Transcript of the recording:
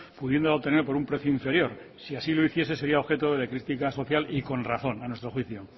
pudiéndola obtener por un precio inferior si así lo hiciese sería objeto de crítica social y con razón a nuestro juicio